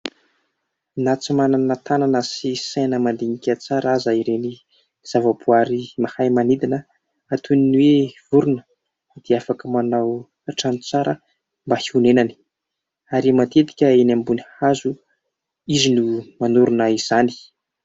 Na tsy manana tanana sy saina mandinika tsara aza ireny zavaboary mahay manidina toy ny hoe vorona, dia afaka manao trano tsara mba honenany, ary matetika dia eny ambony hazo izy no manorina izany.